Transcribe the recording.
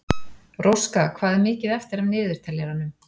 Róska, hvað er mikið eftir af niðurteljaranum?